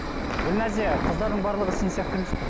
гүлназия қыздардың барлығы сен сияқты емес қой